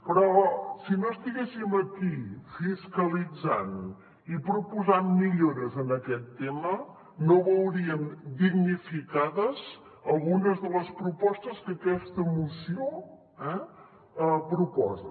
però si no estiguéssim aquí fiscalitzant i proposant millores en aquest tema no veuríem dignificades algunes de les propostes que aquesta moció proposa